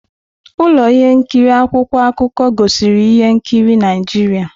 Ụlọ ihe nkiri akwụkwọ akụkọ gosiri ihe nkiri Naijiria.